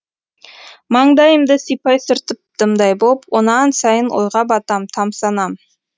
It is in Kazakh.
маңдайымды сипай сүртіп дымдай боп онан сайын ойға батам тамсанам